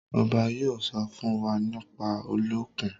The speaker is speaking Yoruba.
obá yóò sọ fún wá nípa Olókùn.